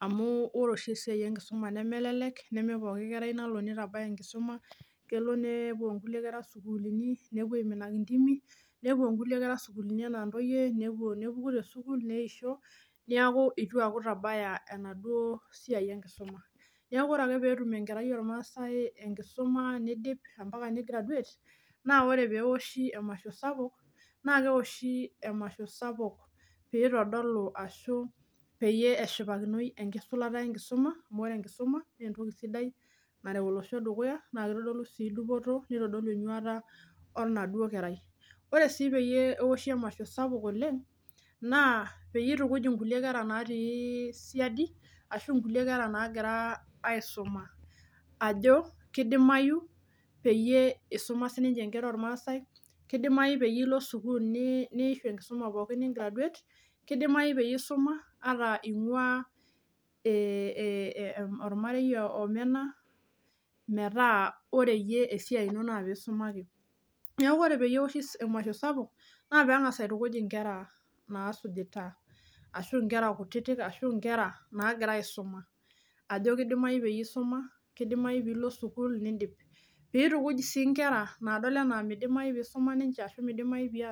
amuu ore oshi esiaai enkisuma nemelelek nemepooki kerai nalo nitabaya enkisuma kelo nepuo Kulie kera sukuuluni nepuo aiminaki indimi kore anaa ntoyie nepuo nepuku te sukuul neisho, neeku eitu nitabaya enaduoo siaai enkisuma neeku kore ake peetum enkerai oormasai enkisuma neidip ampaka nigraduate ore peeoshi emasho sapuk naa keoshi piitodolu ashu peyie eshipakinoi enkisulata enkisuma amu ore enkisuma naa entoki sidai nareu olosho dukuyaa naa nitodolu enyuaata enaduoo kerai, ore sii pee eoshi emasho sapuk oleng naa peyie itukuj inkulie kera natii siadi ashu nkulie kera nagira aisuma ajo keidimayu peyie isuma sininche nkera oormasai, keidimayu piilo sukuul niishu enkisuma pookin nigraduate, keidimayu peyie isuma ata inguaa ee ee ormarei omena, metaa ore yie esiai ino naa piisuma ake, neeku kore peeoshi emasho sapuk naa peen'gas aitukij inkera nasuujita arashu inkera kutitik ashu inkera nagira aisuma ajo keidimayu peyie isuma, keidimayu piidip, piitumuj sii inkera naadol enaa midimayu.